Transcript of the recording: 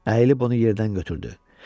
Əyilib onu yerdən götürdü.